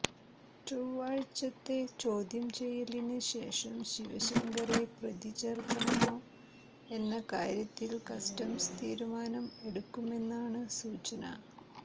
ചൊവ്വാഴ്ചത്തെ ചോദ്യം ചെയ്യലിന് ശേഷം ശിവശങ്കറെ പ്രതി ചേർക്കണമോ എന്ന കാര്യത്തിൽ കസ്റ്റംസ് തീരുമാനം എടുക്കുമെന്നാണ് സൂചന